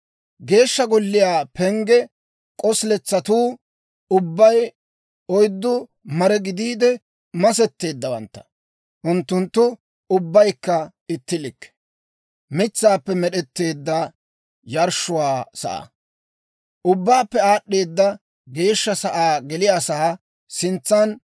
Geeshsha Golliyaa pengge k'osiletsatuu ubbay oyddu mare gidiide masetteeddawantta; unttunttu ubbaykka itti likke. Mitsaappe Med'd'eedda Yarshshiyaa Sa'aa Ubbaappe Aad'd'eeda Geeshsha Sa'aa geliyaasaa sintsan